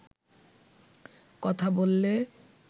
কথা বললে